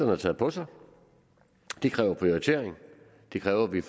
har taget på sig det kræver prioritering det kræver at vi